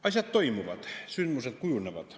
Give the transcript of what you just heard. Asjad toimuvad, sündmused kujunevad.